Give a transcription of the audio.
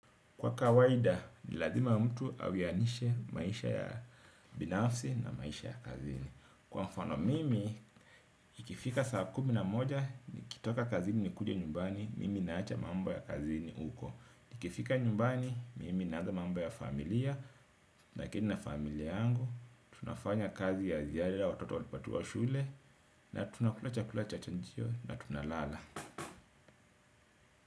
Kwa kawaida, ni lazima mtu awianishe maisha ya binafsi na maisha ya kazini. Kwa mfano mimi, ikifika saa kumi na moja, nikitoka kazini nikuje nyumbani, mimi naacha mambo ya kazini huko. Ikifika nyumbani, mimi naanza mambo ya familia, naketi na familia yangu. Tunafanya kazi ya ziada watoto watu wa shule, na tunakula chakula cha chajio, na tunalala.